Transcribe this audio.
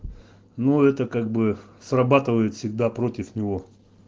ну это как бы срабатывает всегда против него